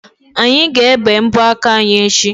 Anyị ga-ebe mbọ aka anyi echi.